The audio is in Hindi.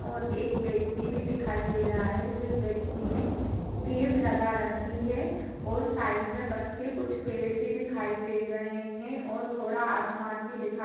और एक व्यक्ति भी दिखाई दे रहा है जिस व्यक्ति ने केप लगा रखी है और साइड मे बस के कुछ पेड़ भी दिखाई दे रहें हैं और थोड़ा आसमान भी दिखाई--